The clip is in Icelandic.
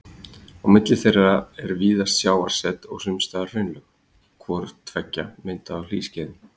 Á milli þeirra er víðast sjávarset og sums staðar hraunlög, hvort tveggja myndað á hlýskeiðum.